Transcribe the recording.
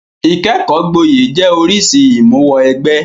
Ìkẹ́kọ̀ọ́ gboyè jẹ́ oríṣìí ìmúwọ-ẹgbẹ́.